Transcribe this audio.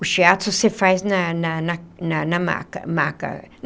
O Shiatsu você faz na na na na na maca maca.